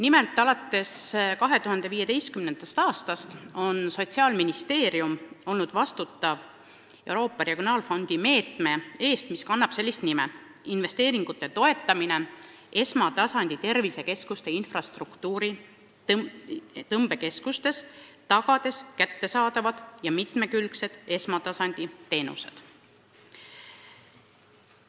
Nimelt, alates 2015. aastast vastutab Sotsiaalministeerium Euroopa Regionaalarengu Fondi meetme eest, mis kannab pealkirja "Investeeringute toetamine esmatasandi tervisekeskuste infrastruktuuri tõmbekeskustes, tagades kättesaadavad ja mitmekülgsed esmatasandi teenused".